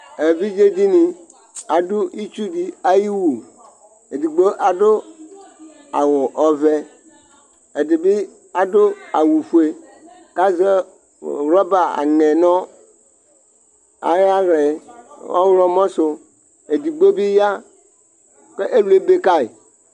Evidze dɩnɩ adʋ itsu dɩ ayʋ ɩwʋ Edigbo adʋ awʋ ɔvɛ, ɛdɩ bɩ adʋ awʋfue, kʋ azɛ wrɔba (aŋɛ) nʋ ayʋ aɣla yɛ ɔɣlɔmɔ sʋ Ɛdigbo bɩ ya kʋ ɛlʋ ebe kayɩ